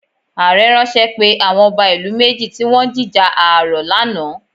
Ààrẹ̀ ránṣẹ́ pe àwọn ọba ìlú méjì tí wọn ń jíjà ààrọ̀ lánàá